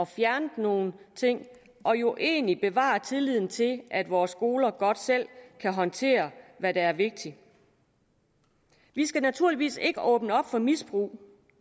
fjernet nogle ting og jo egentlig bevarer tilliden til at vores skoler godt selv kan håndtere hvad der er vigtigt vi skal naturligvis ikke åbne op for misbrug